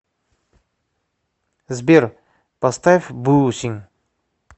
сбер поставь бусин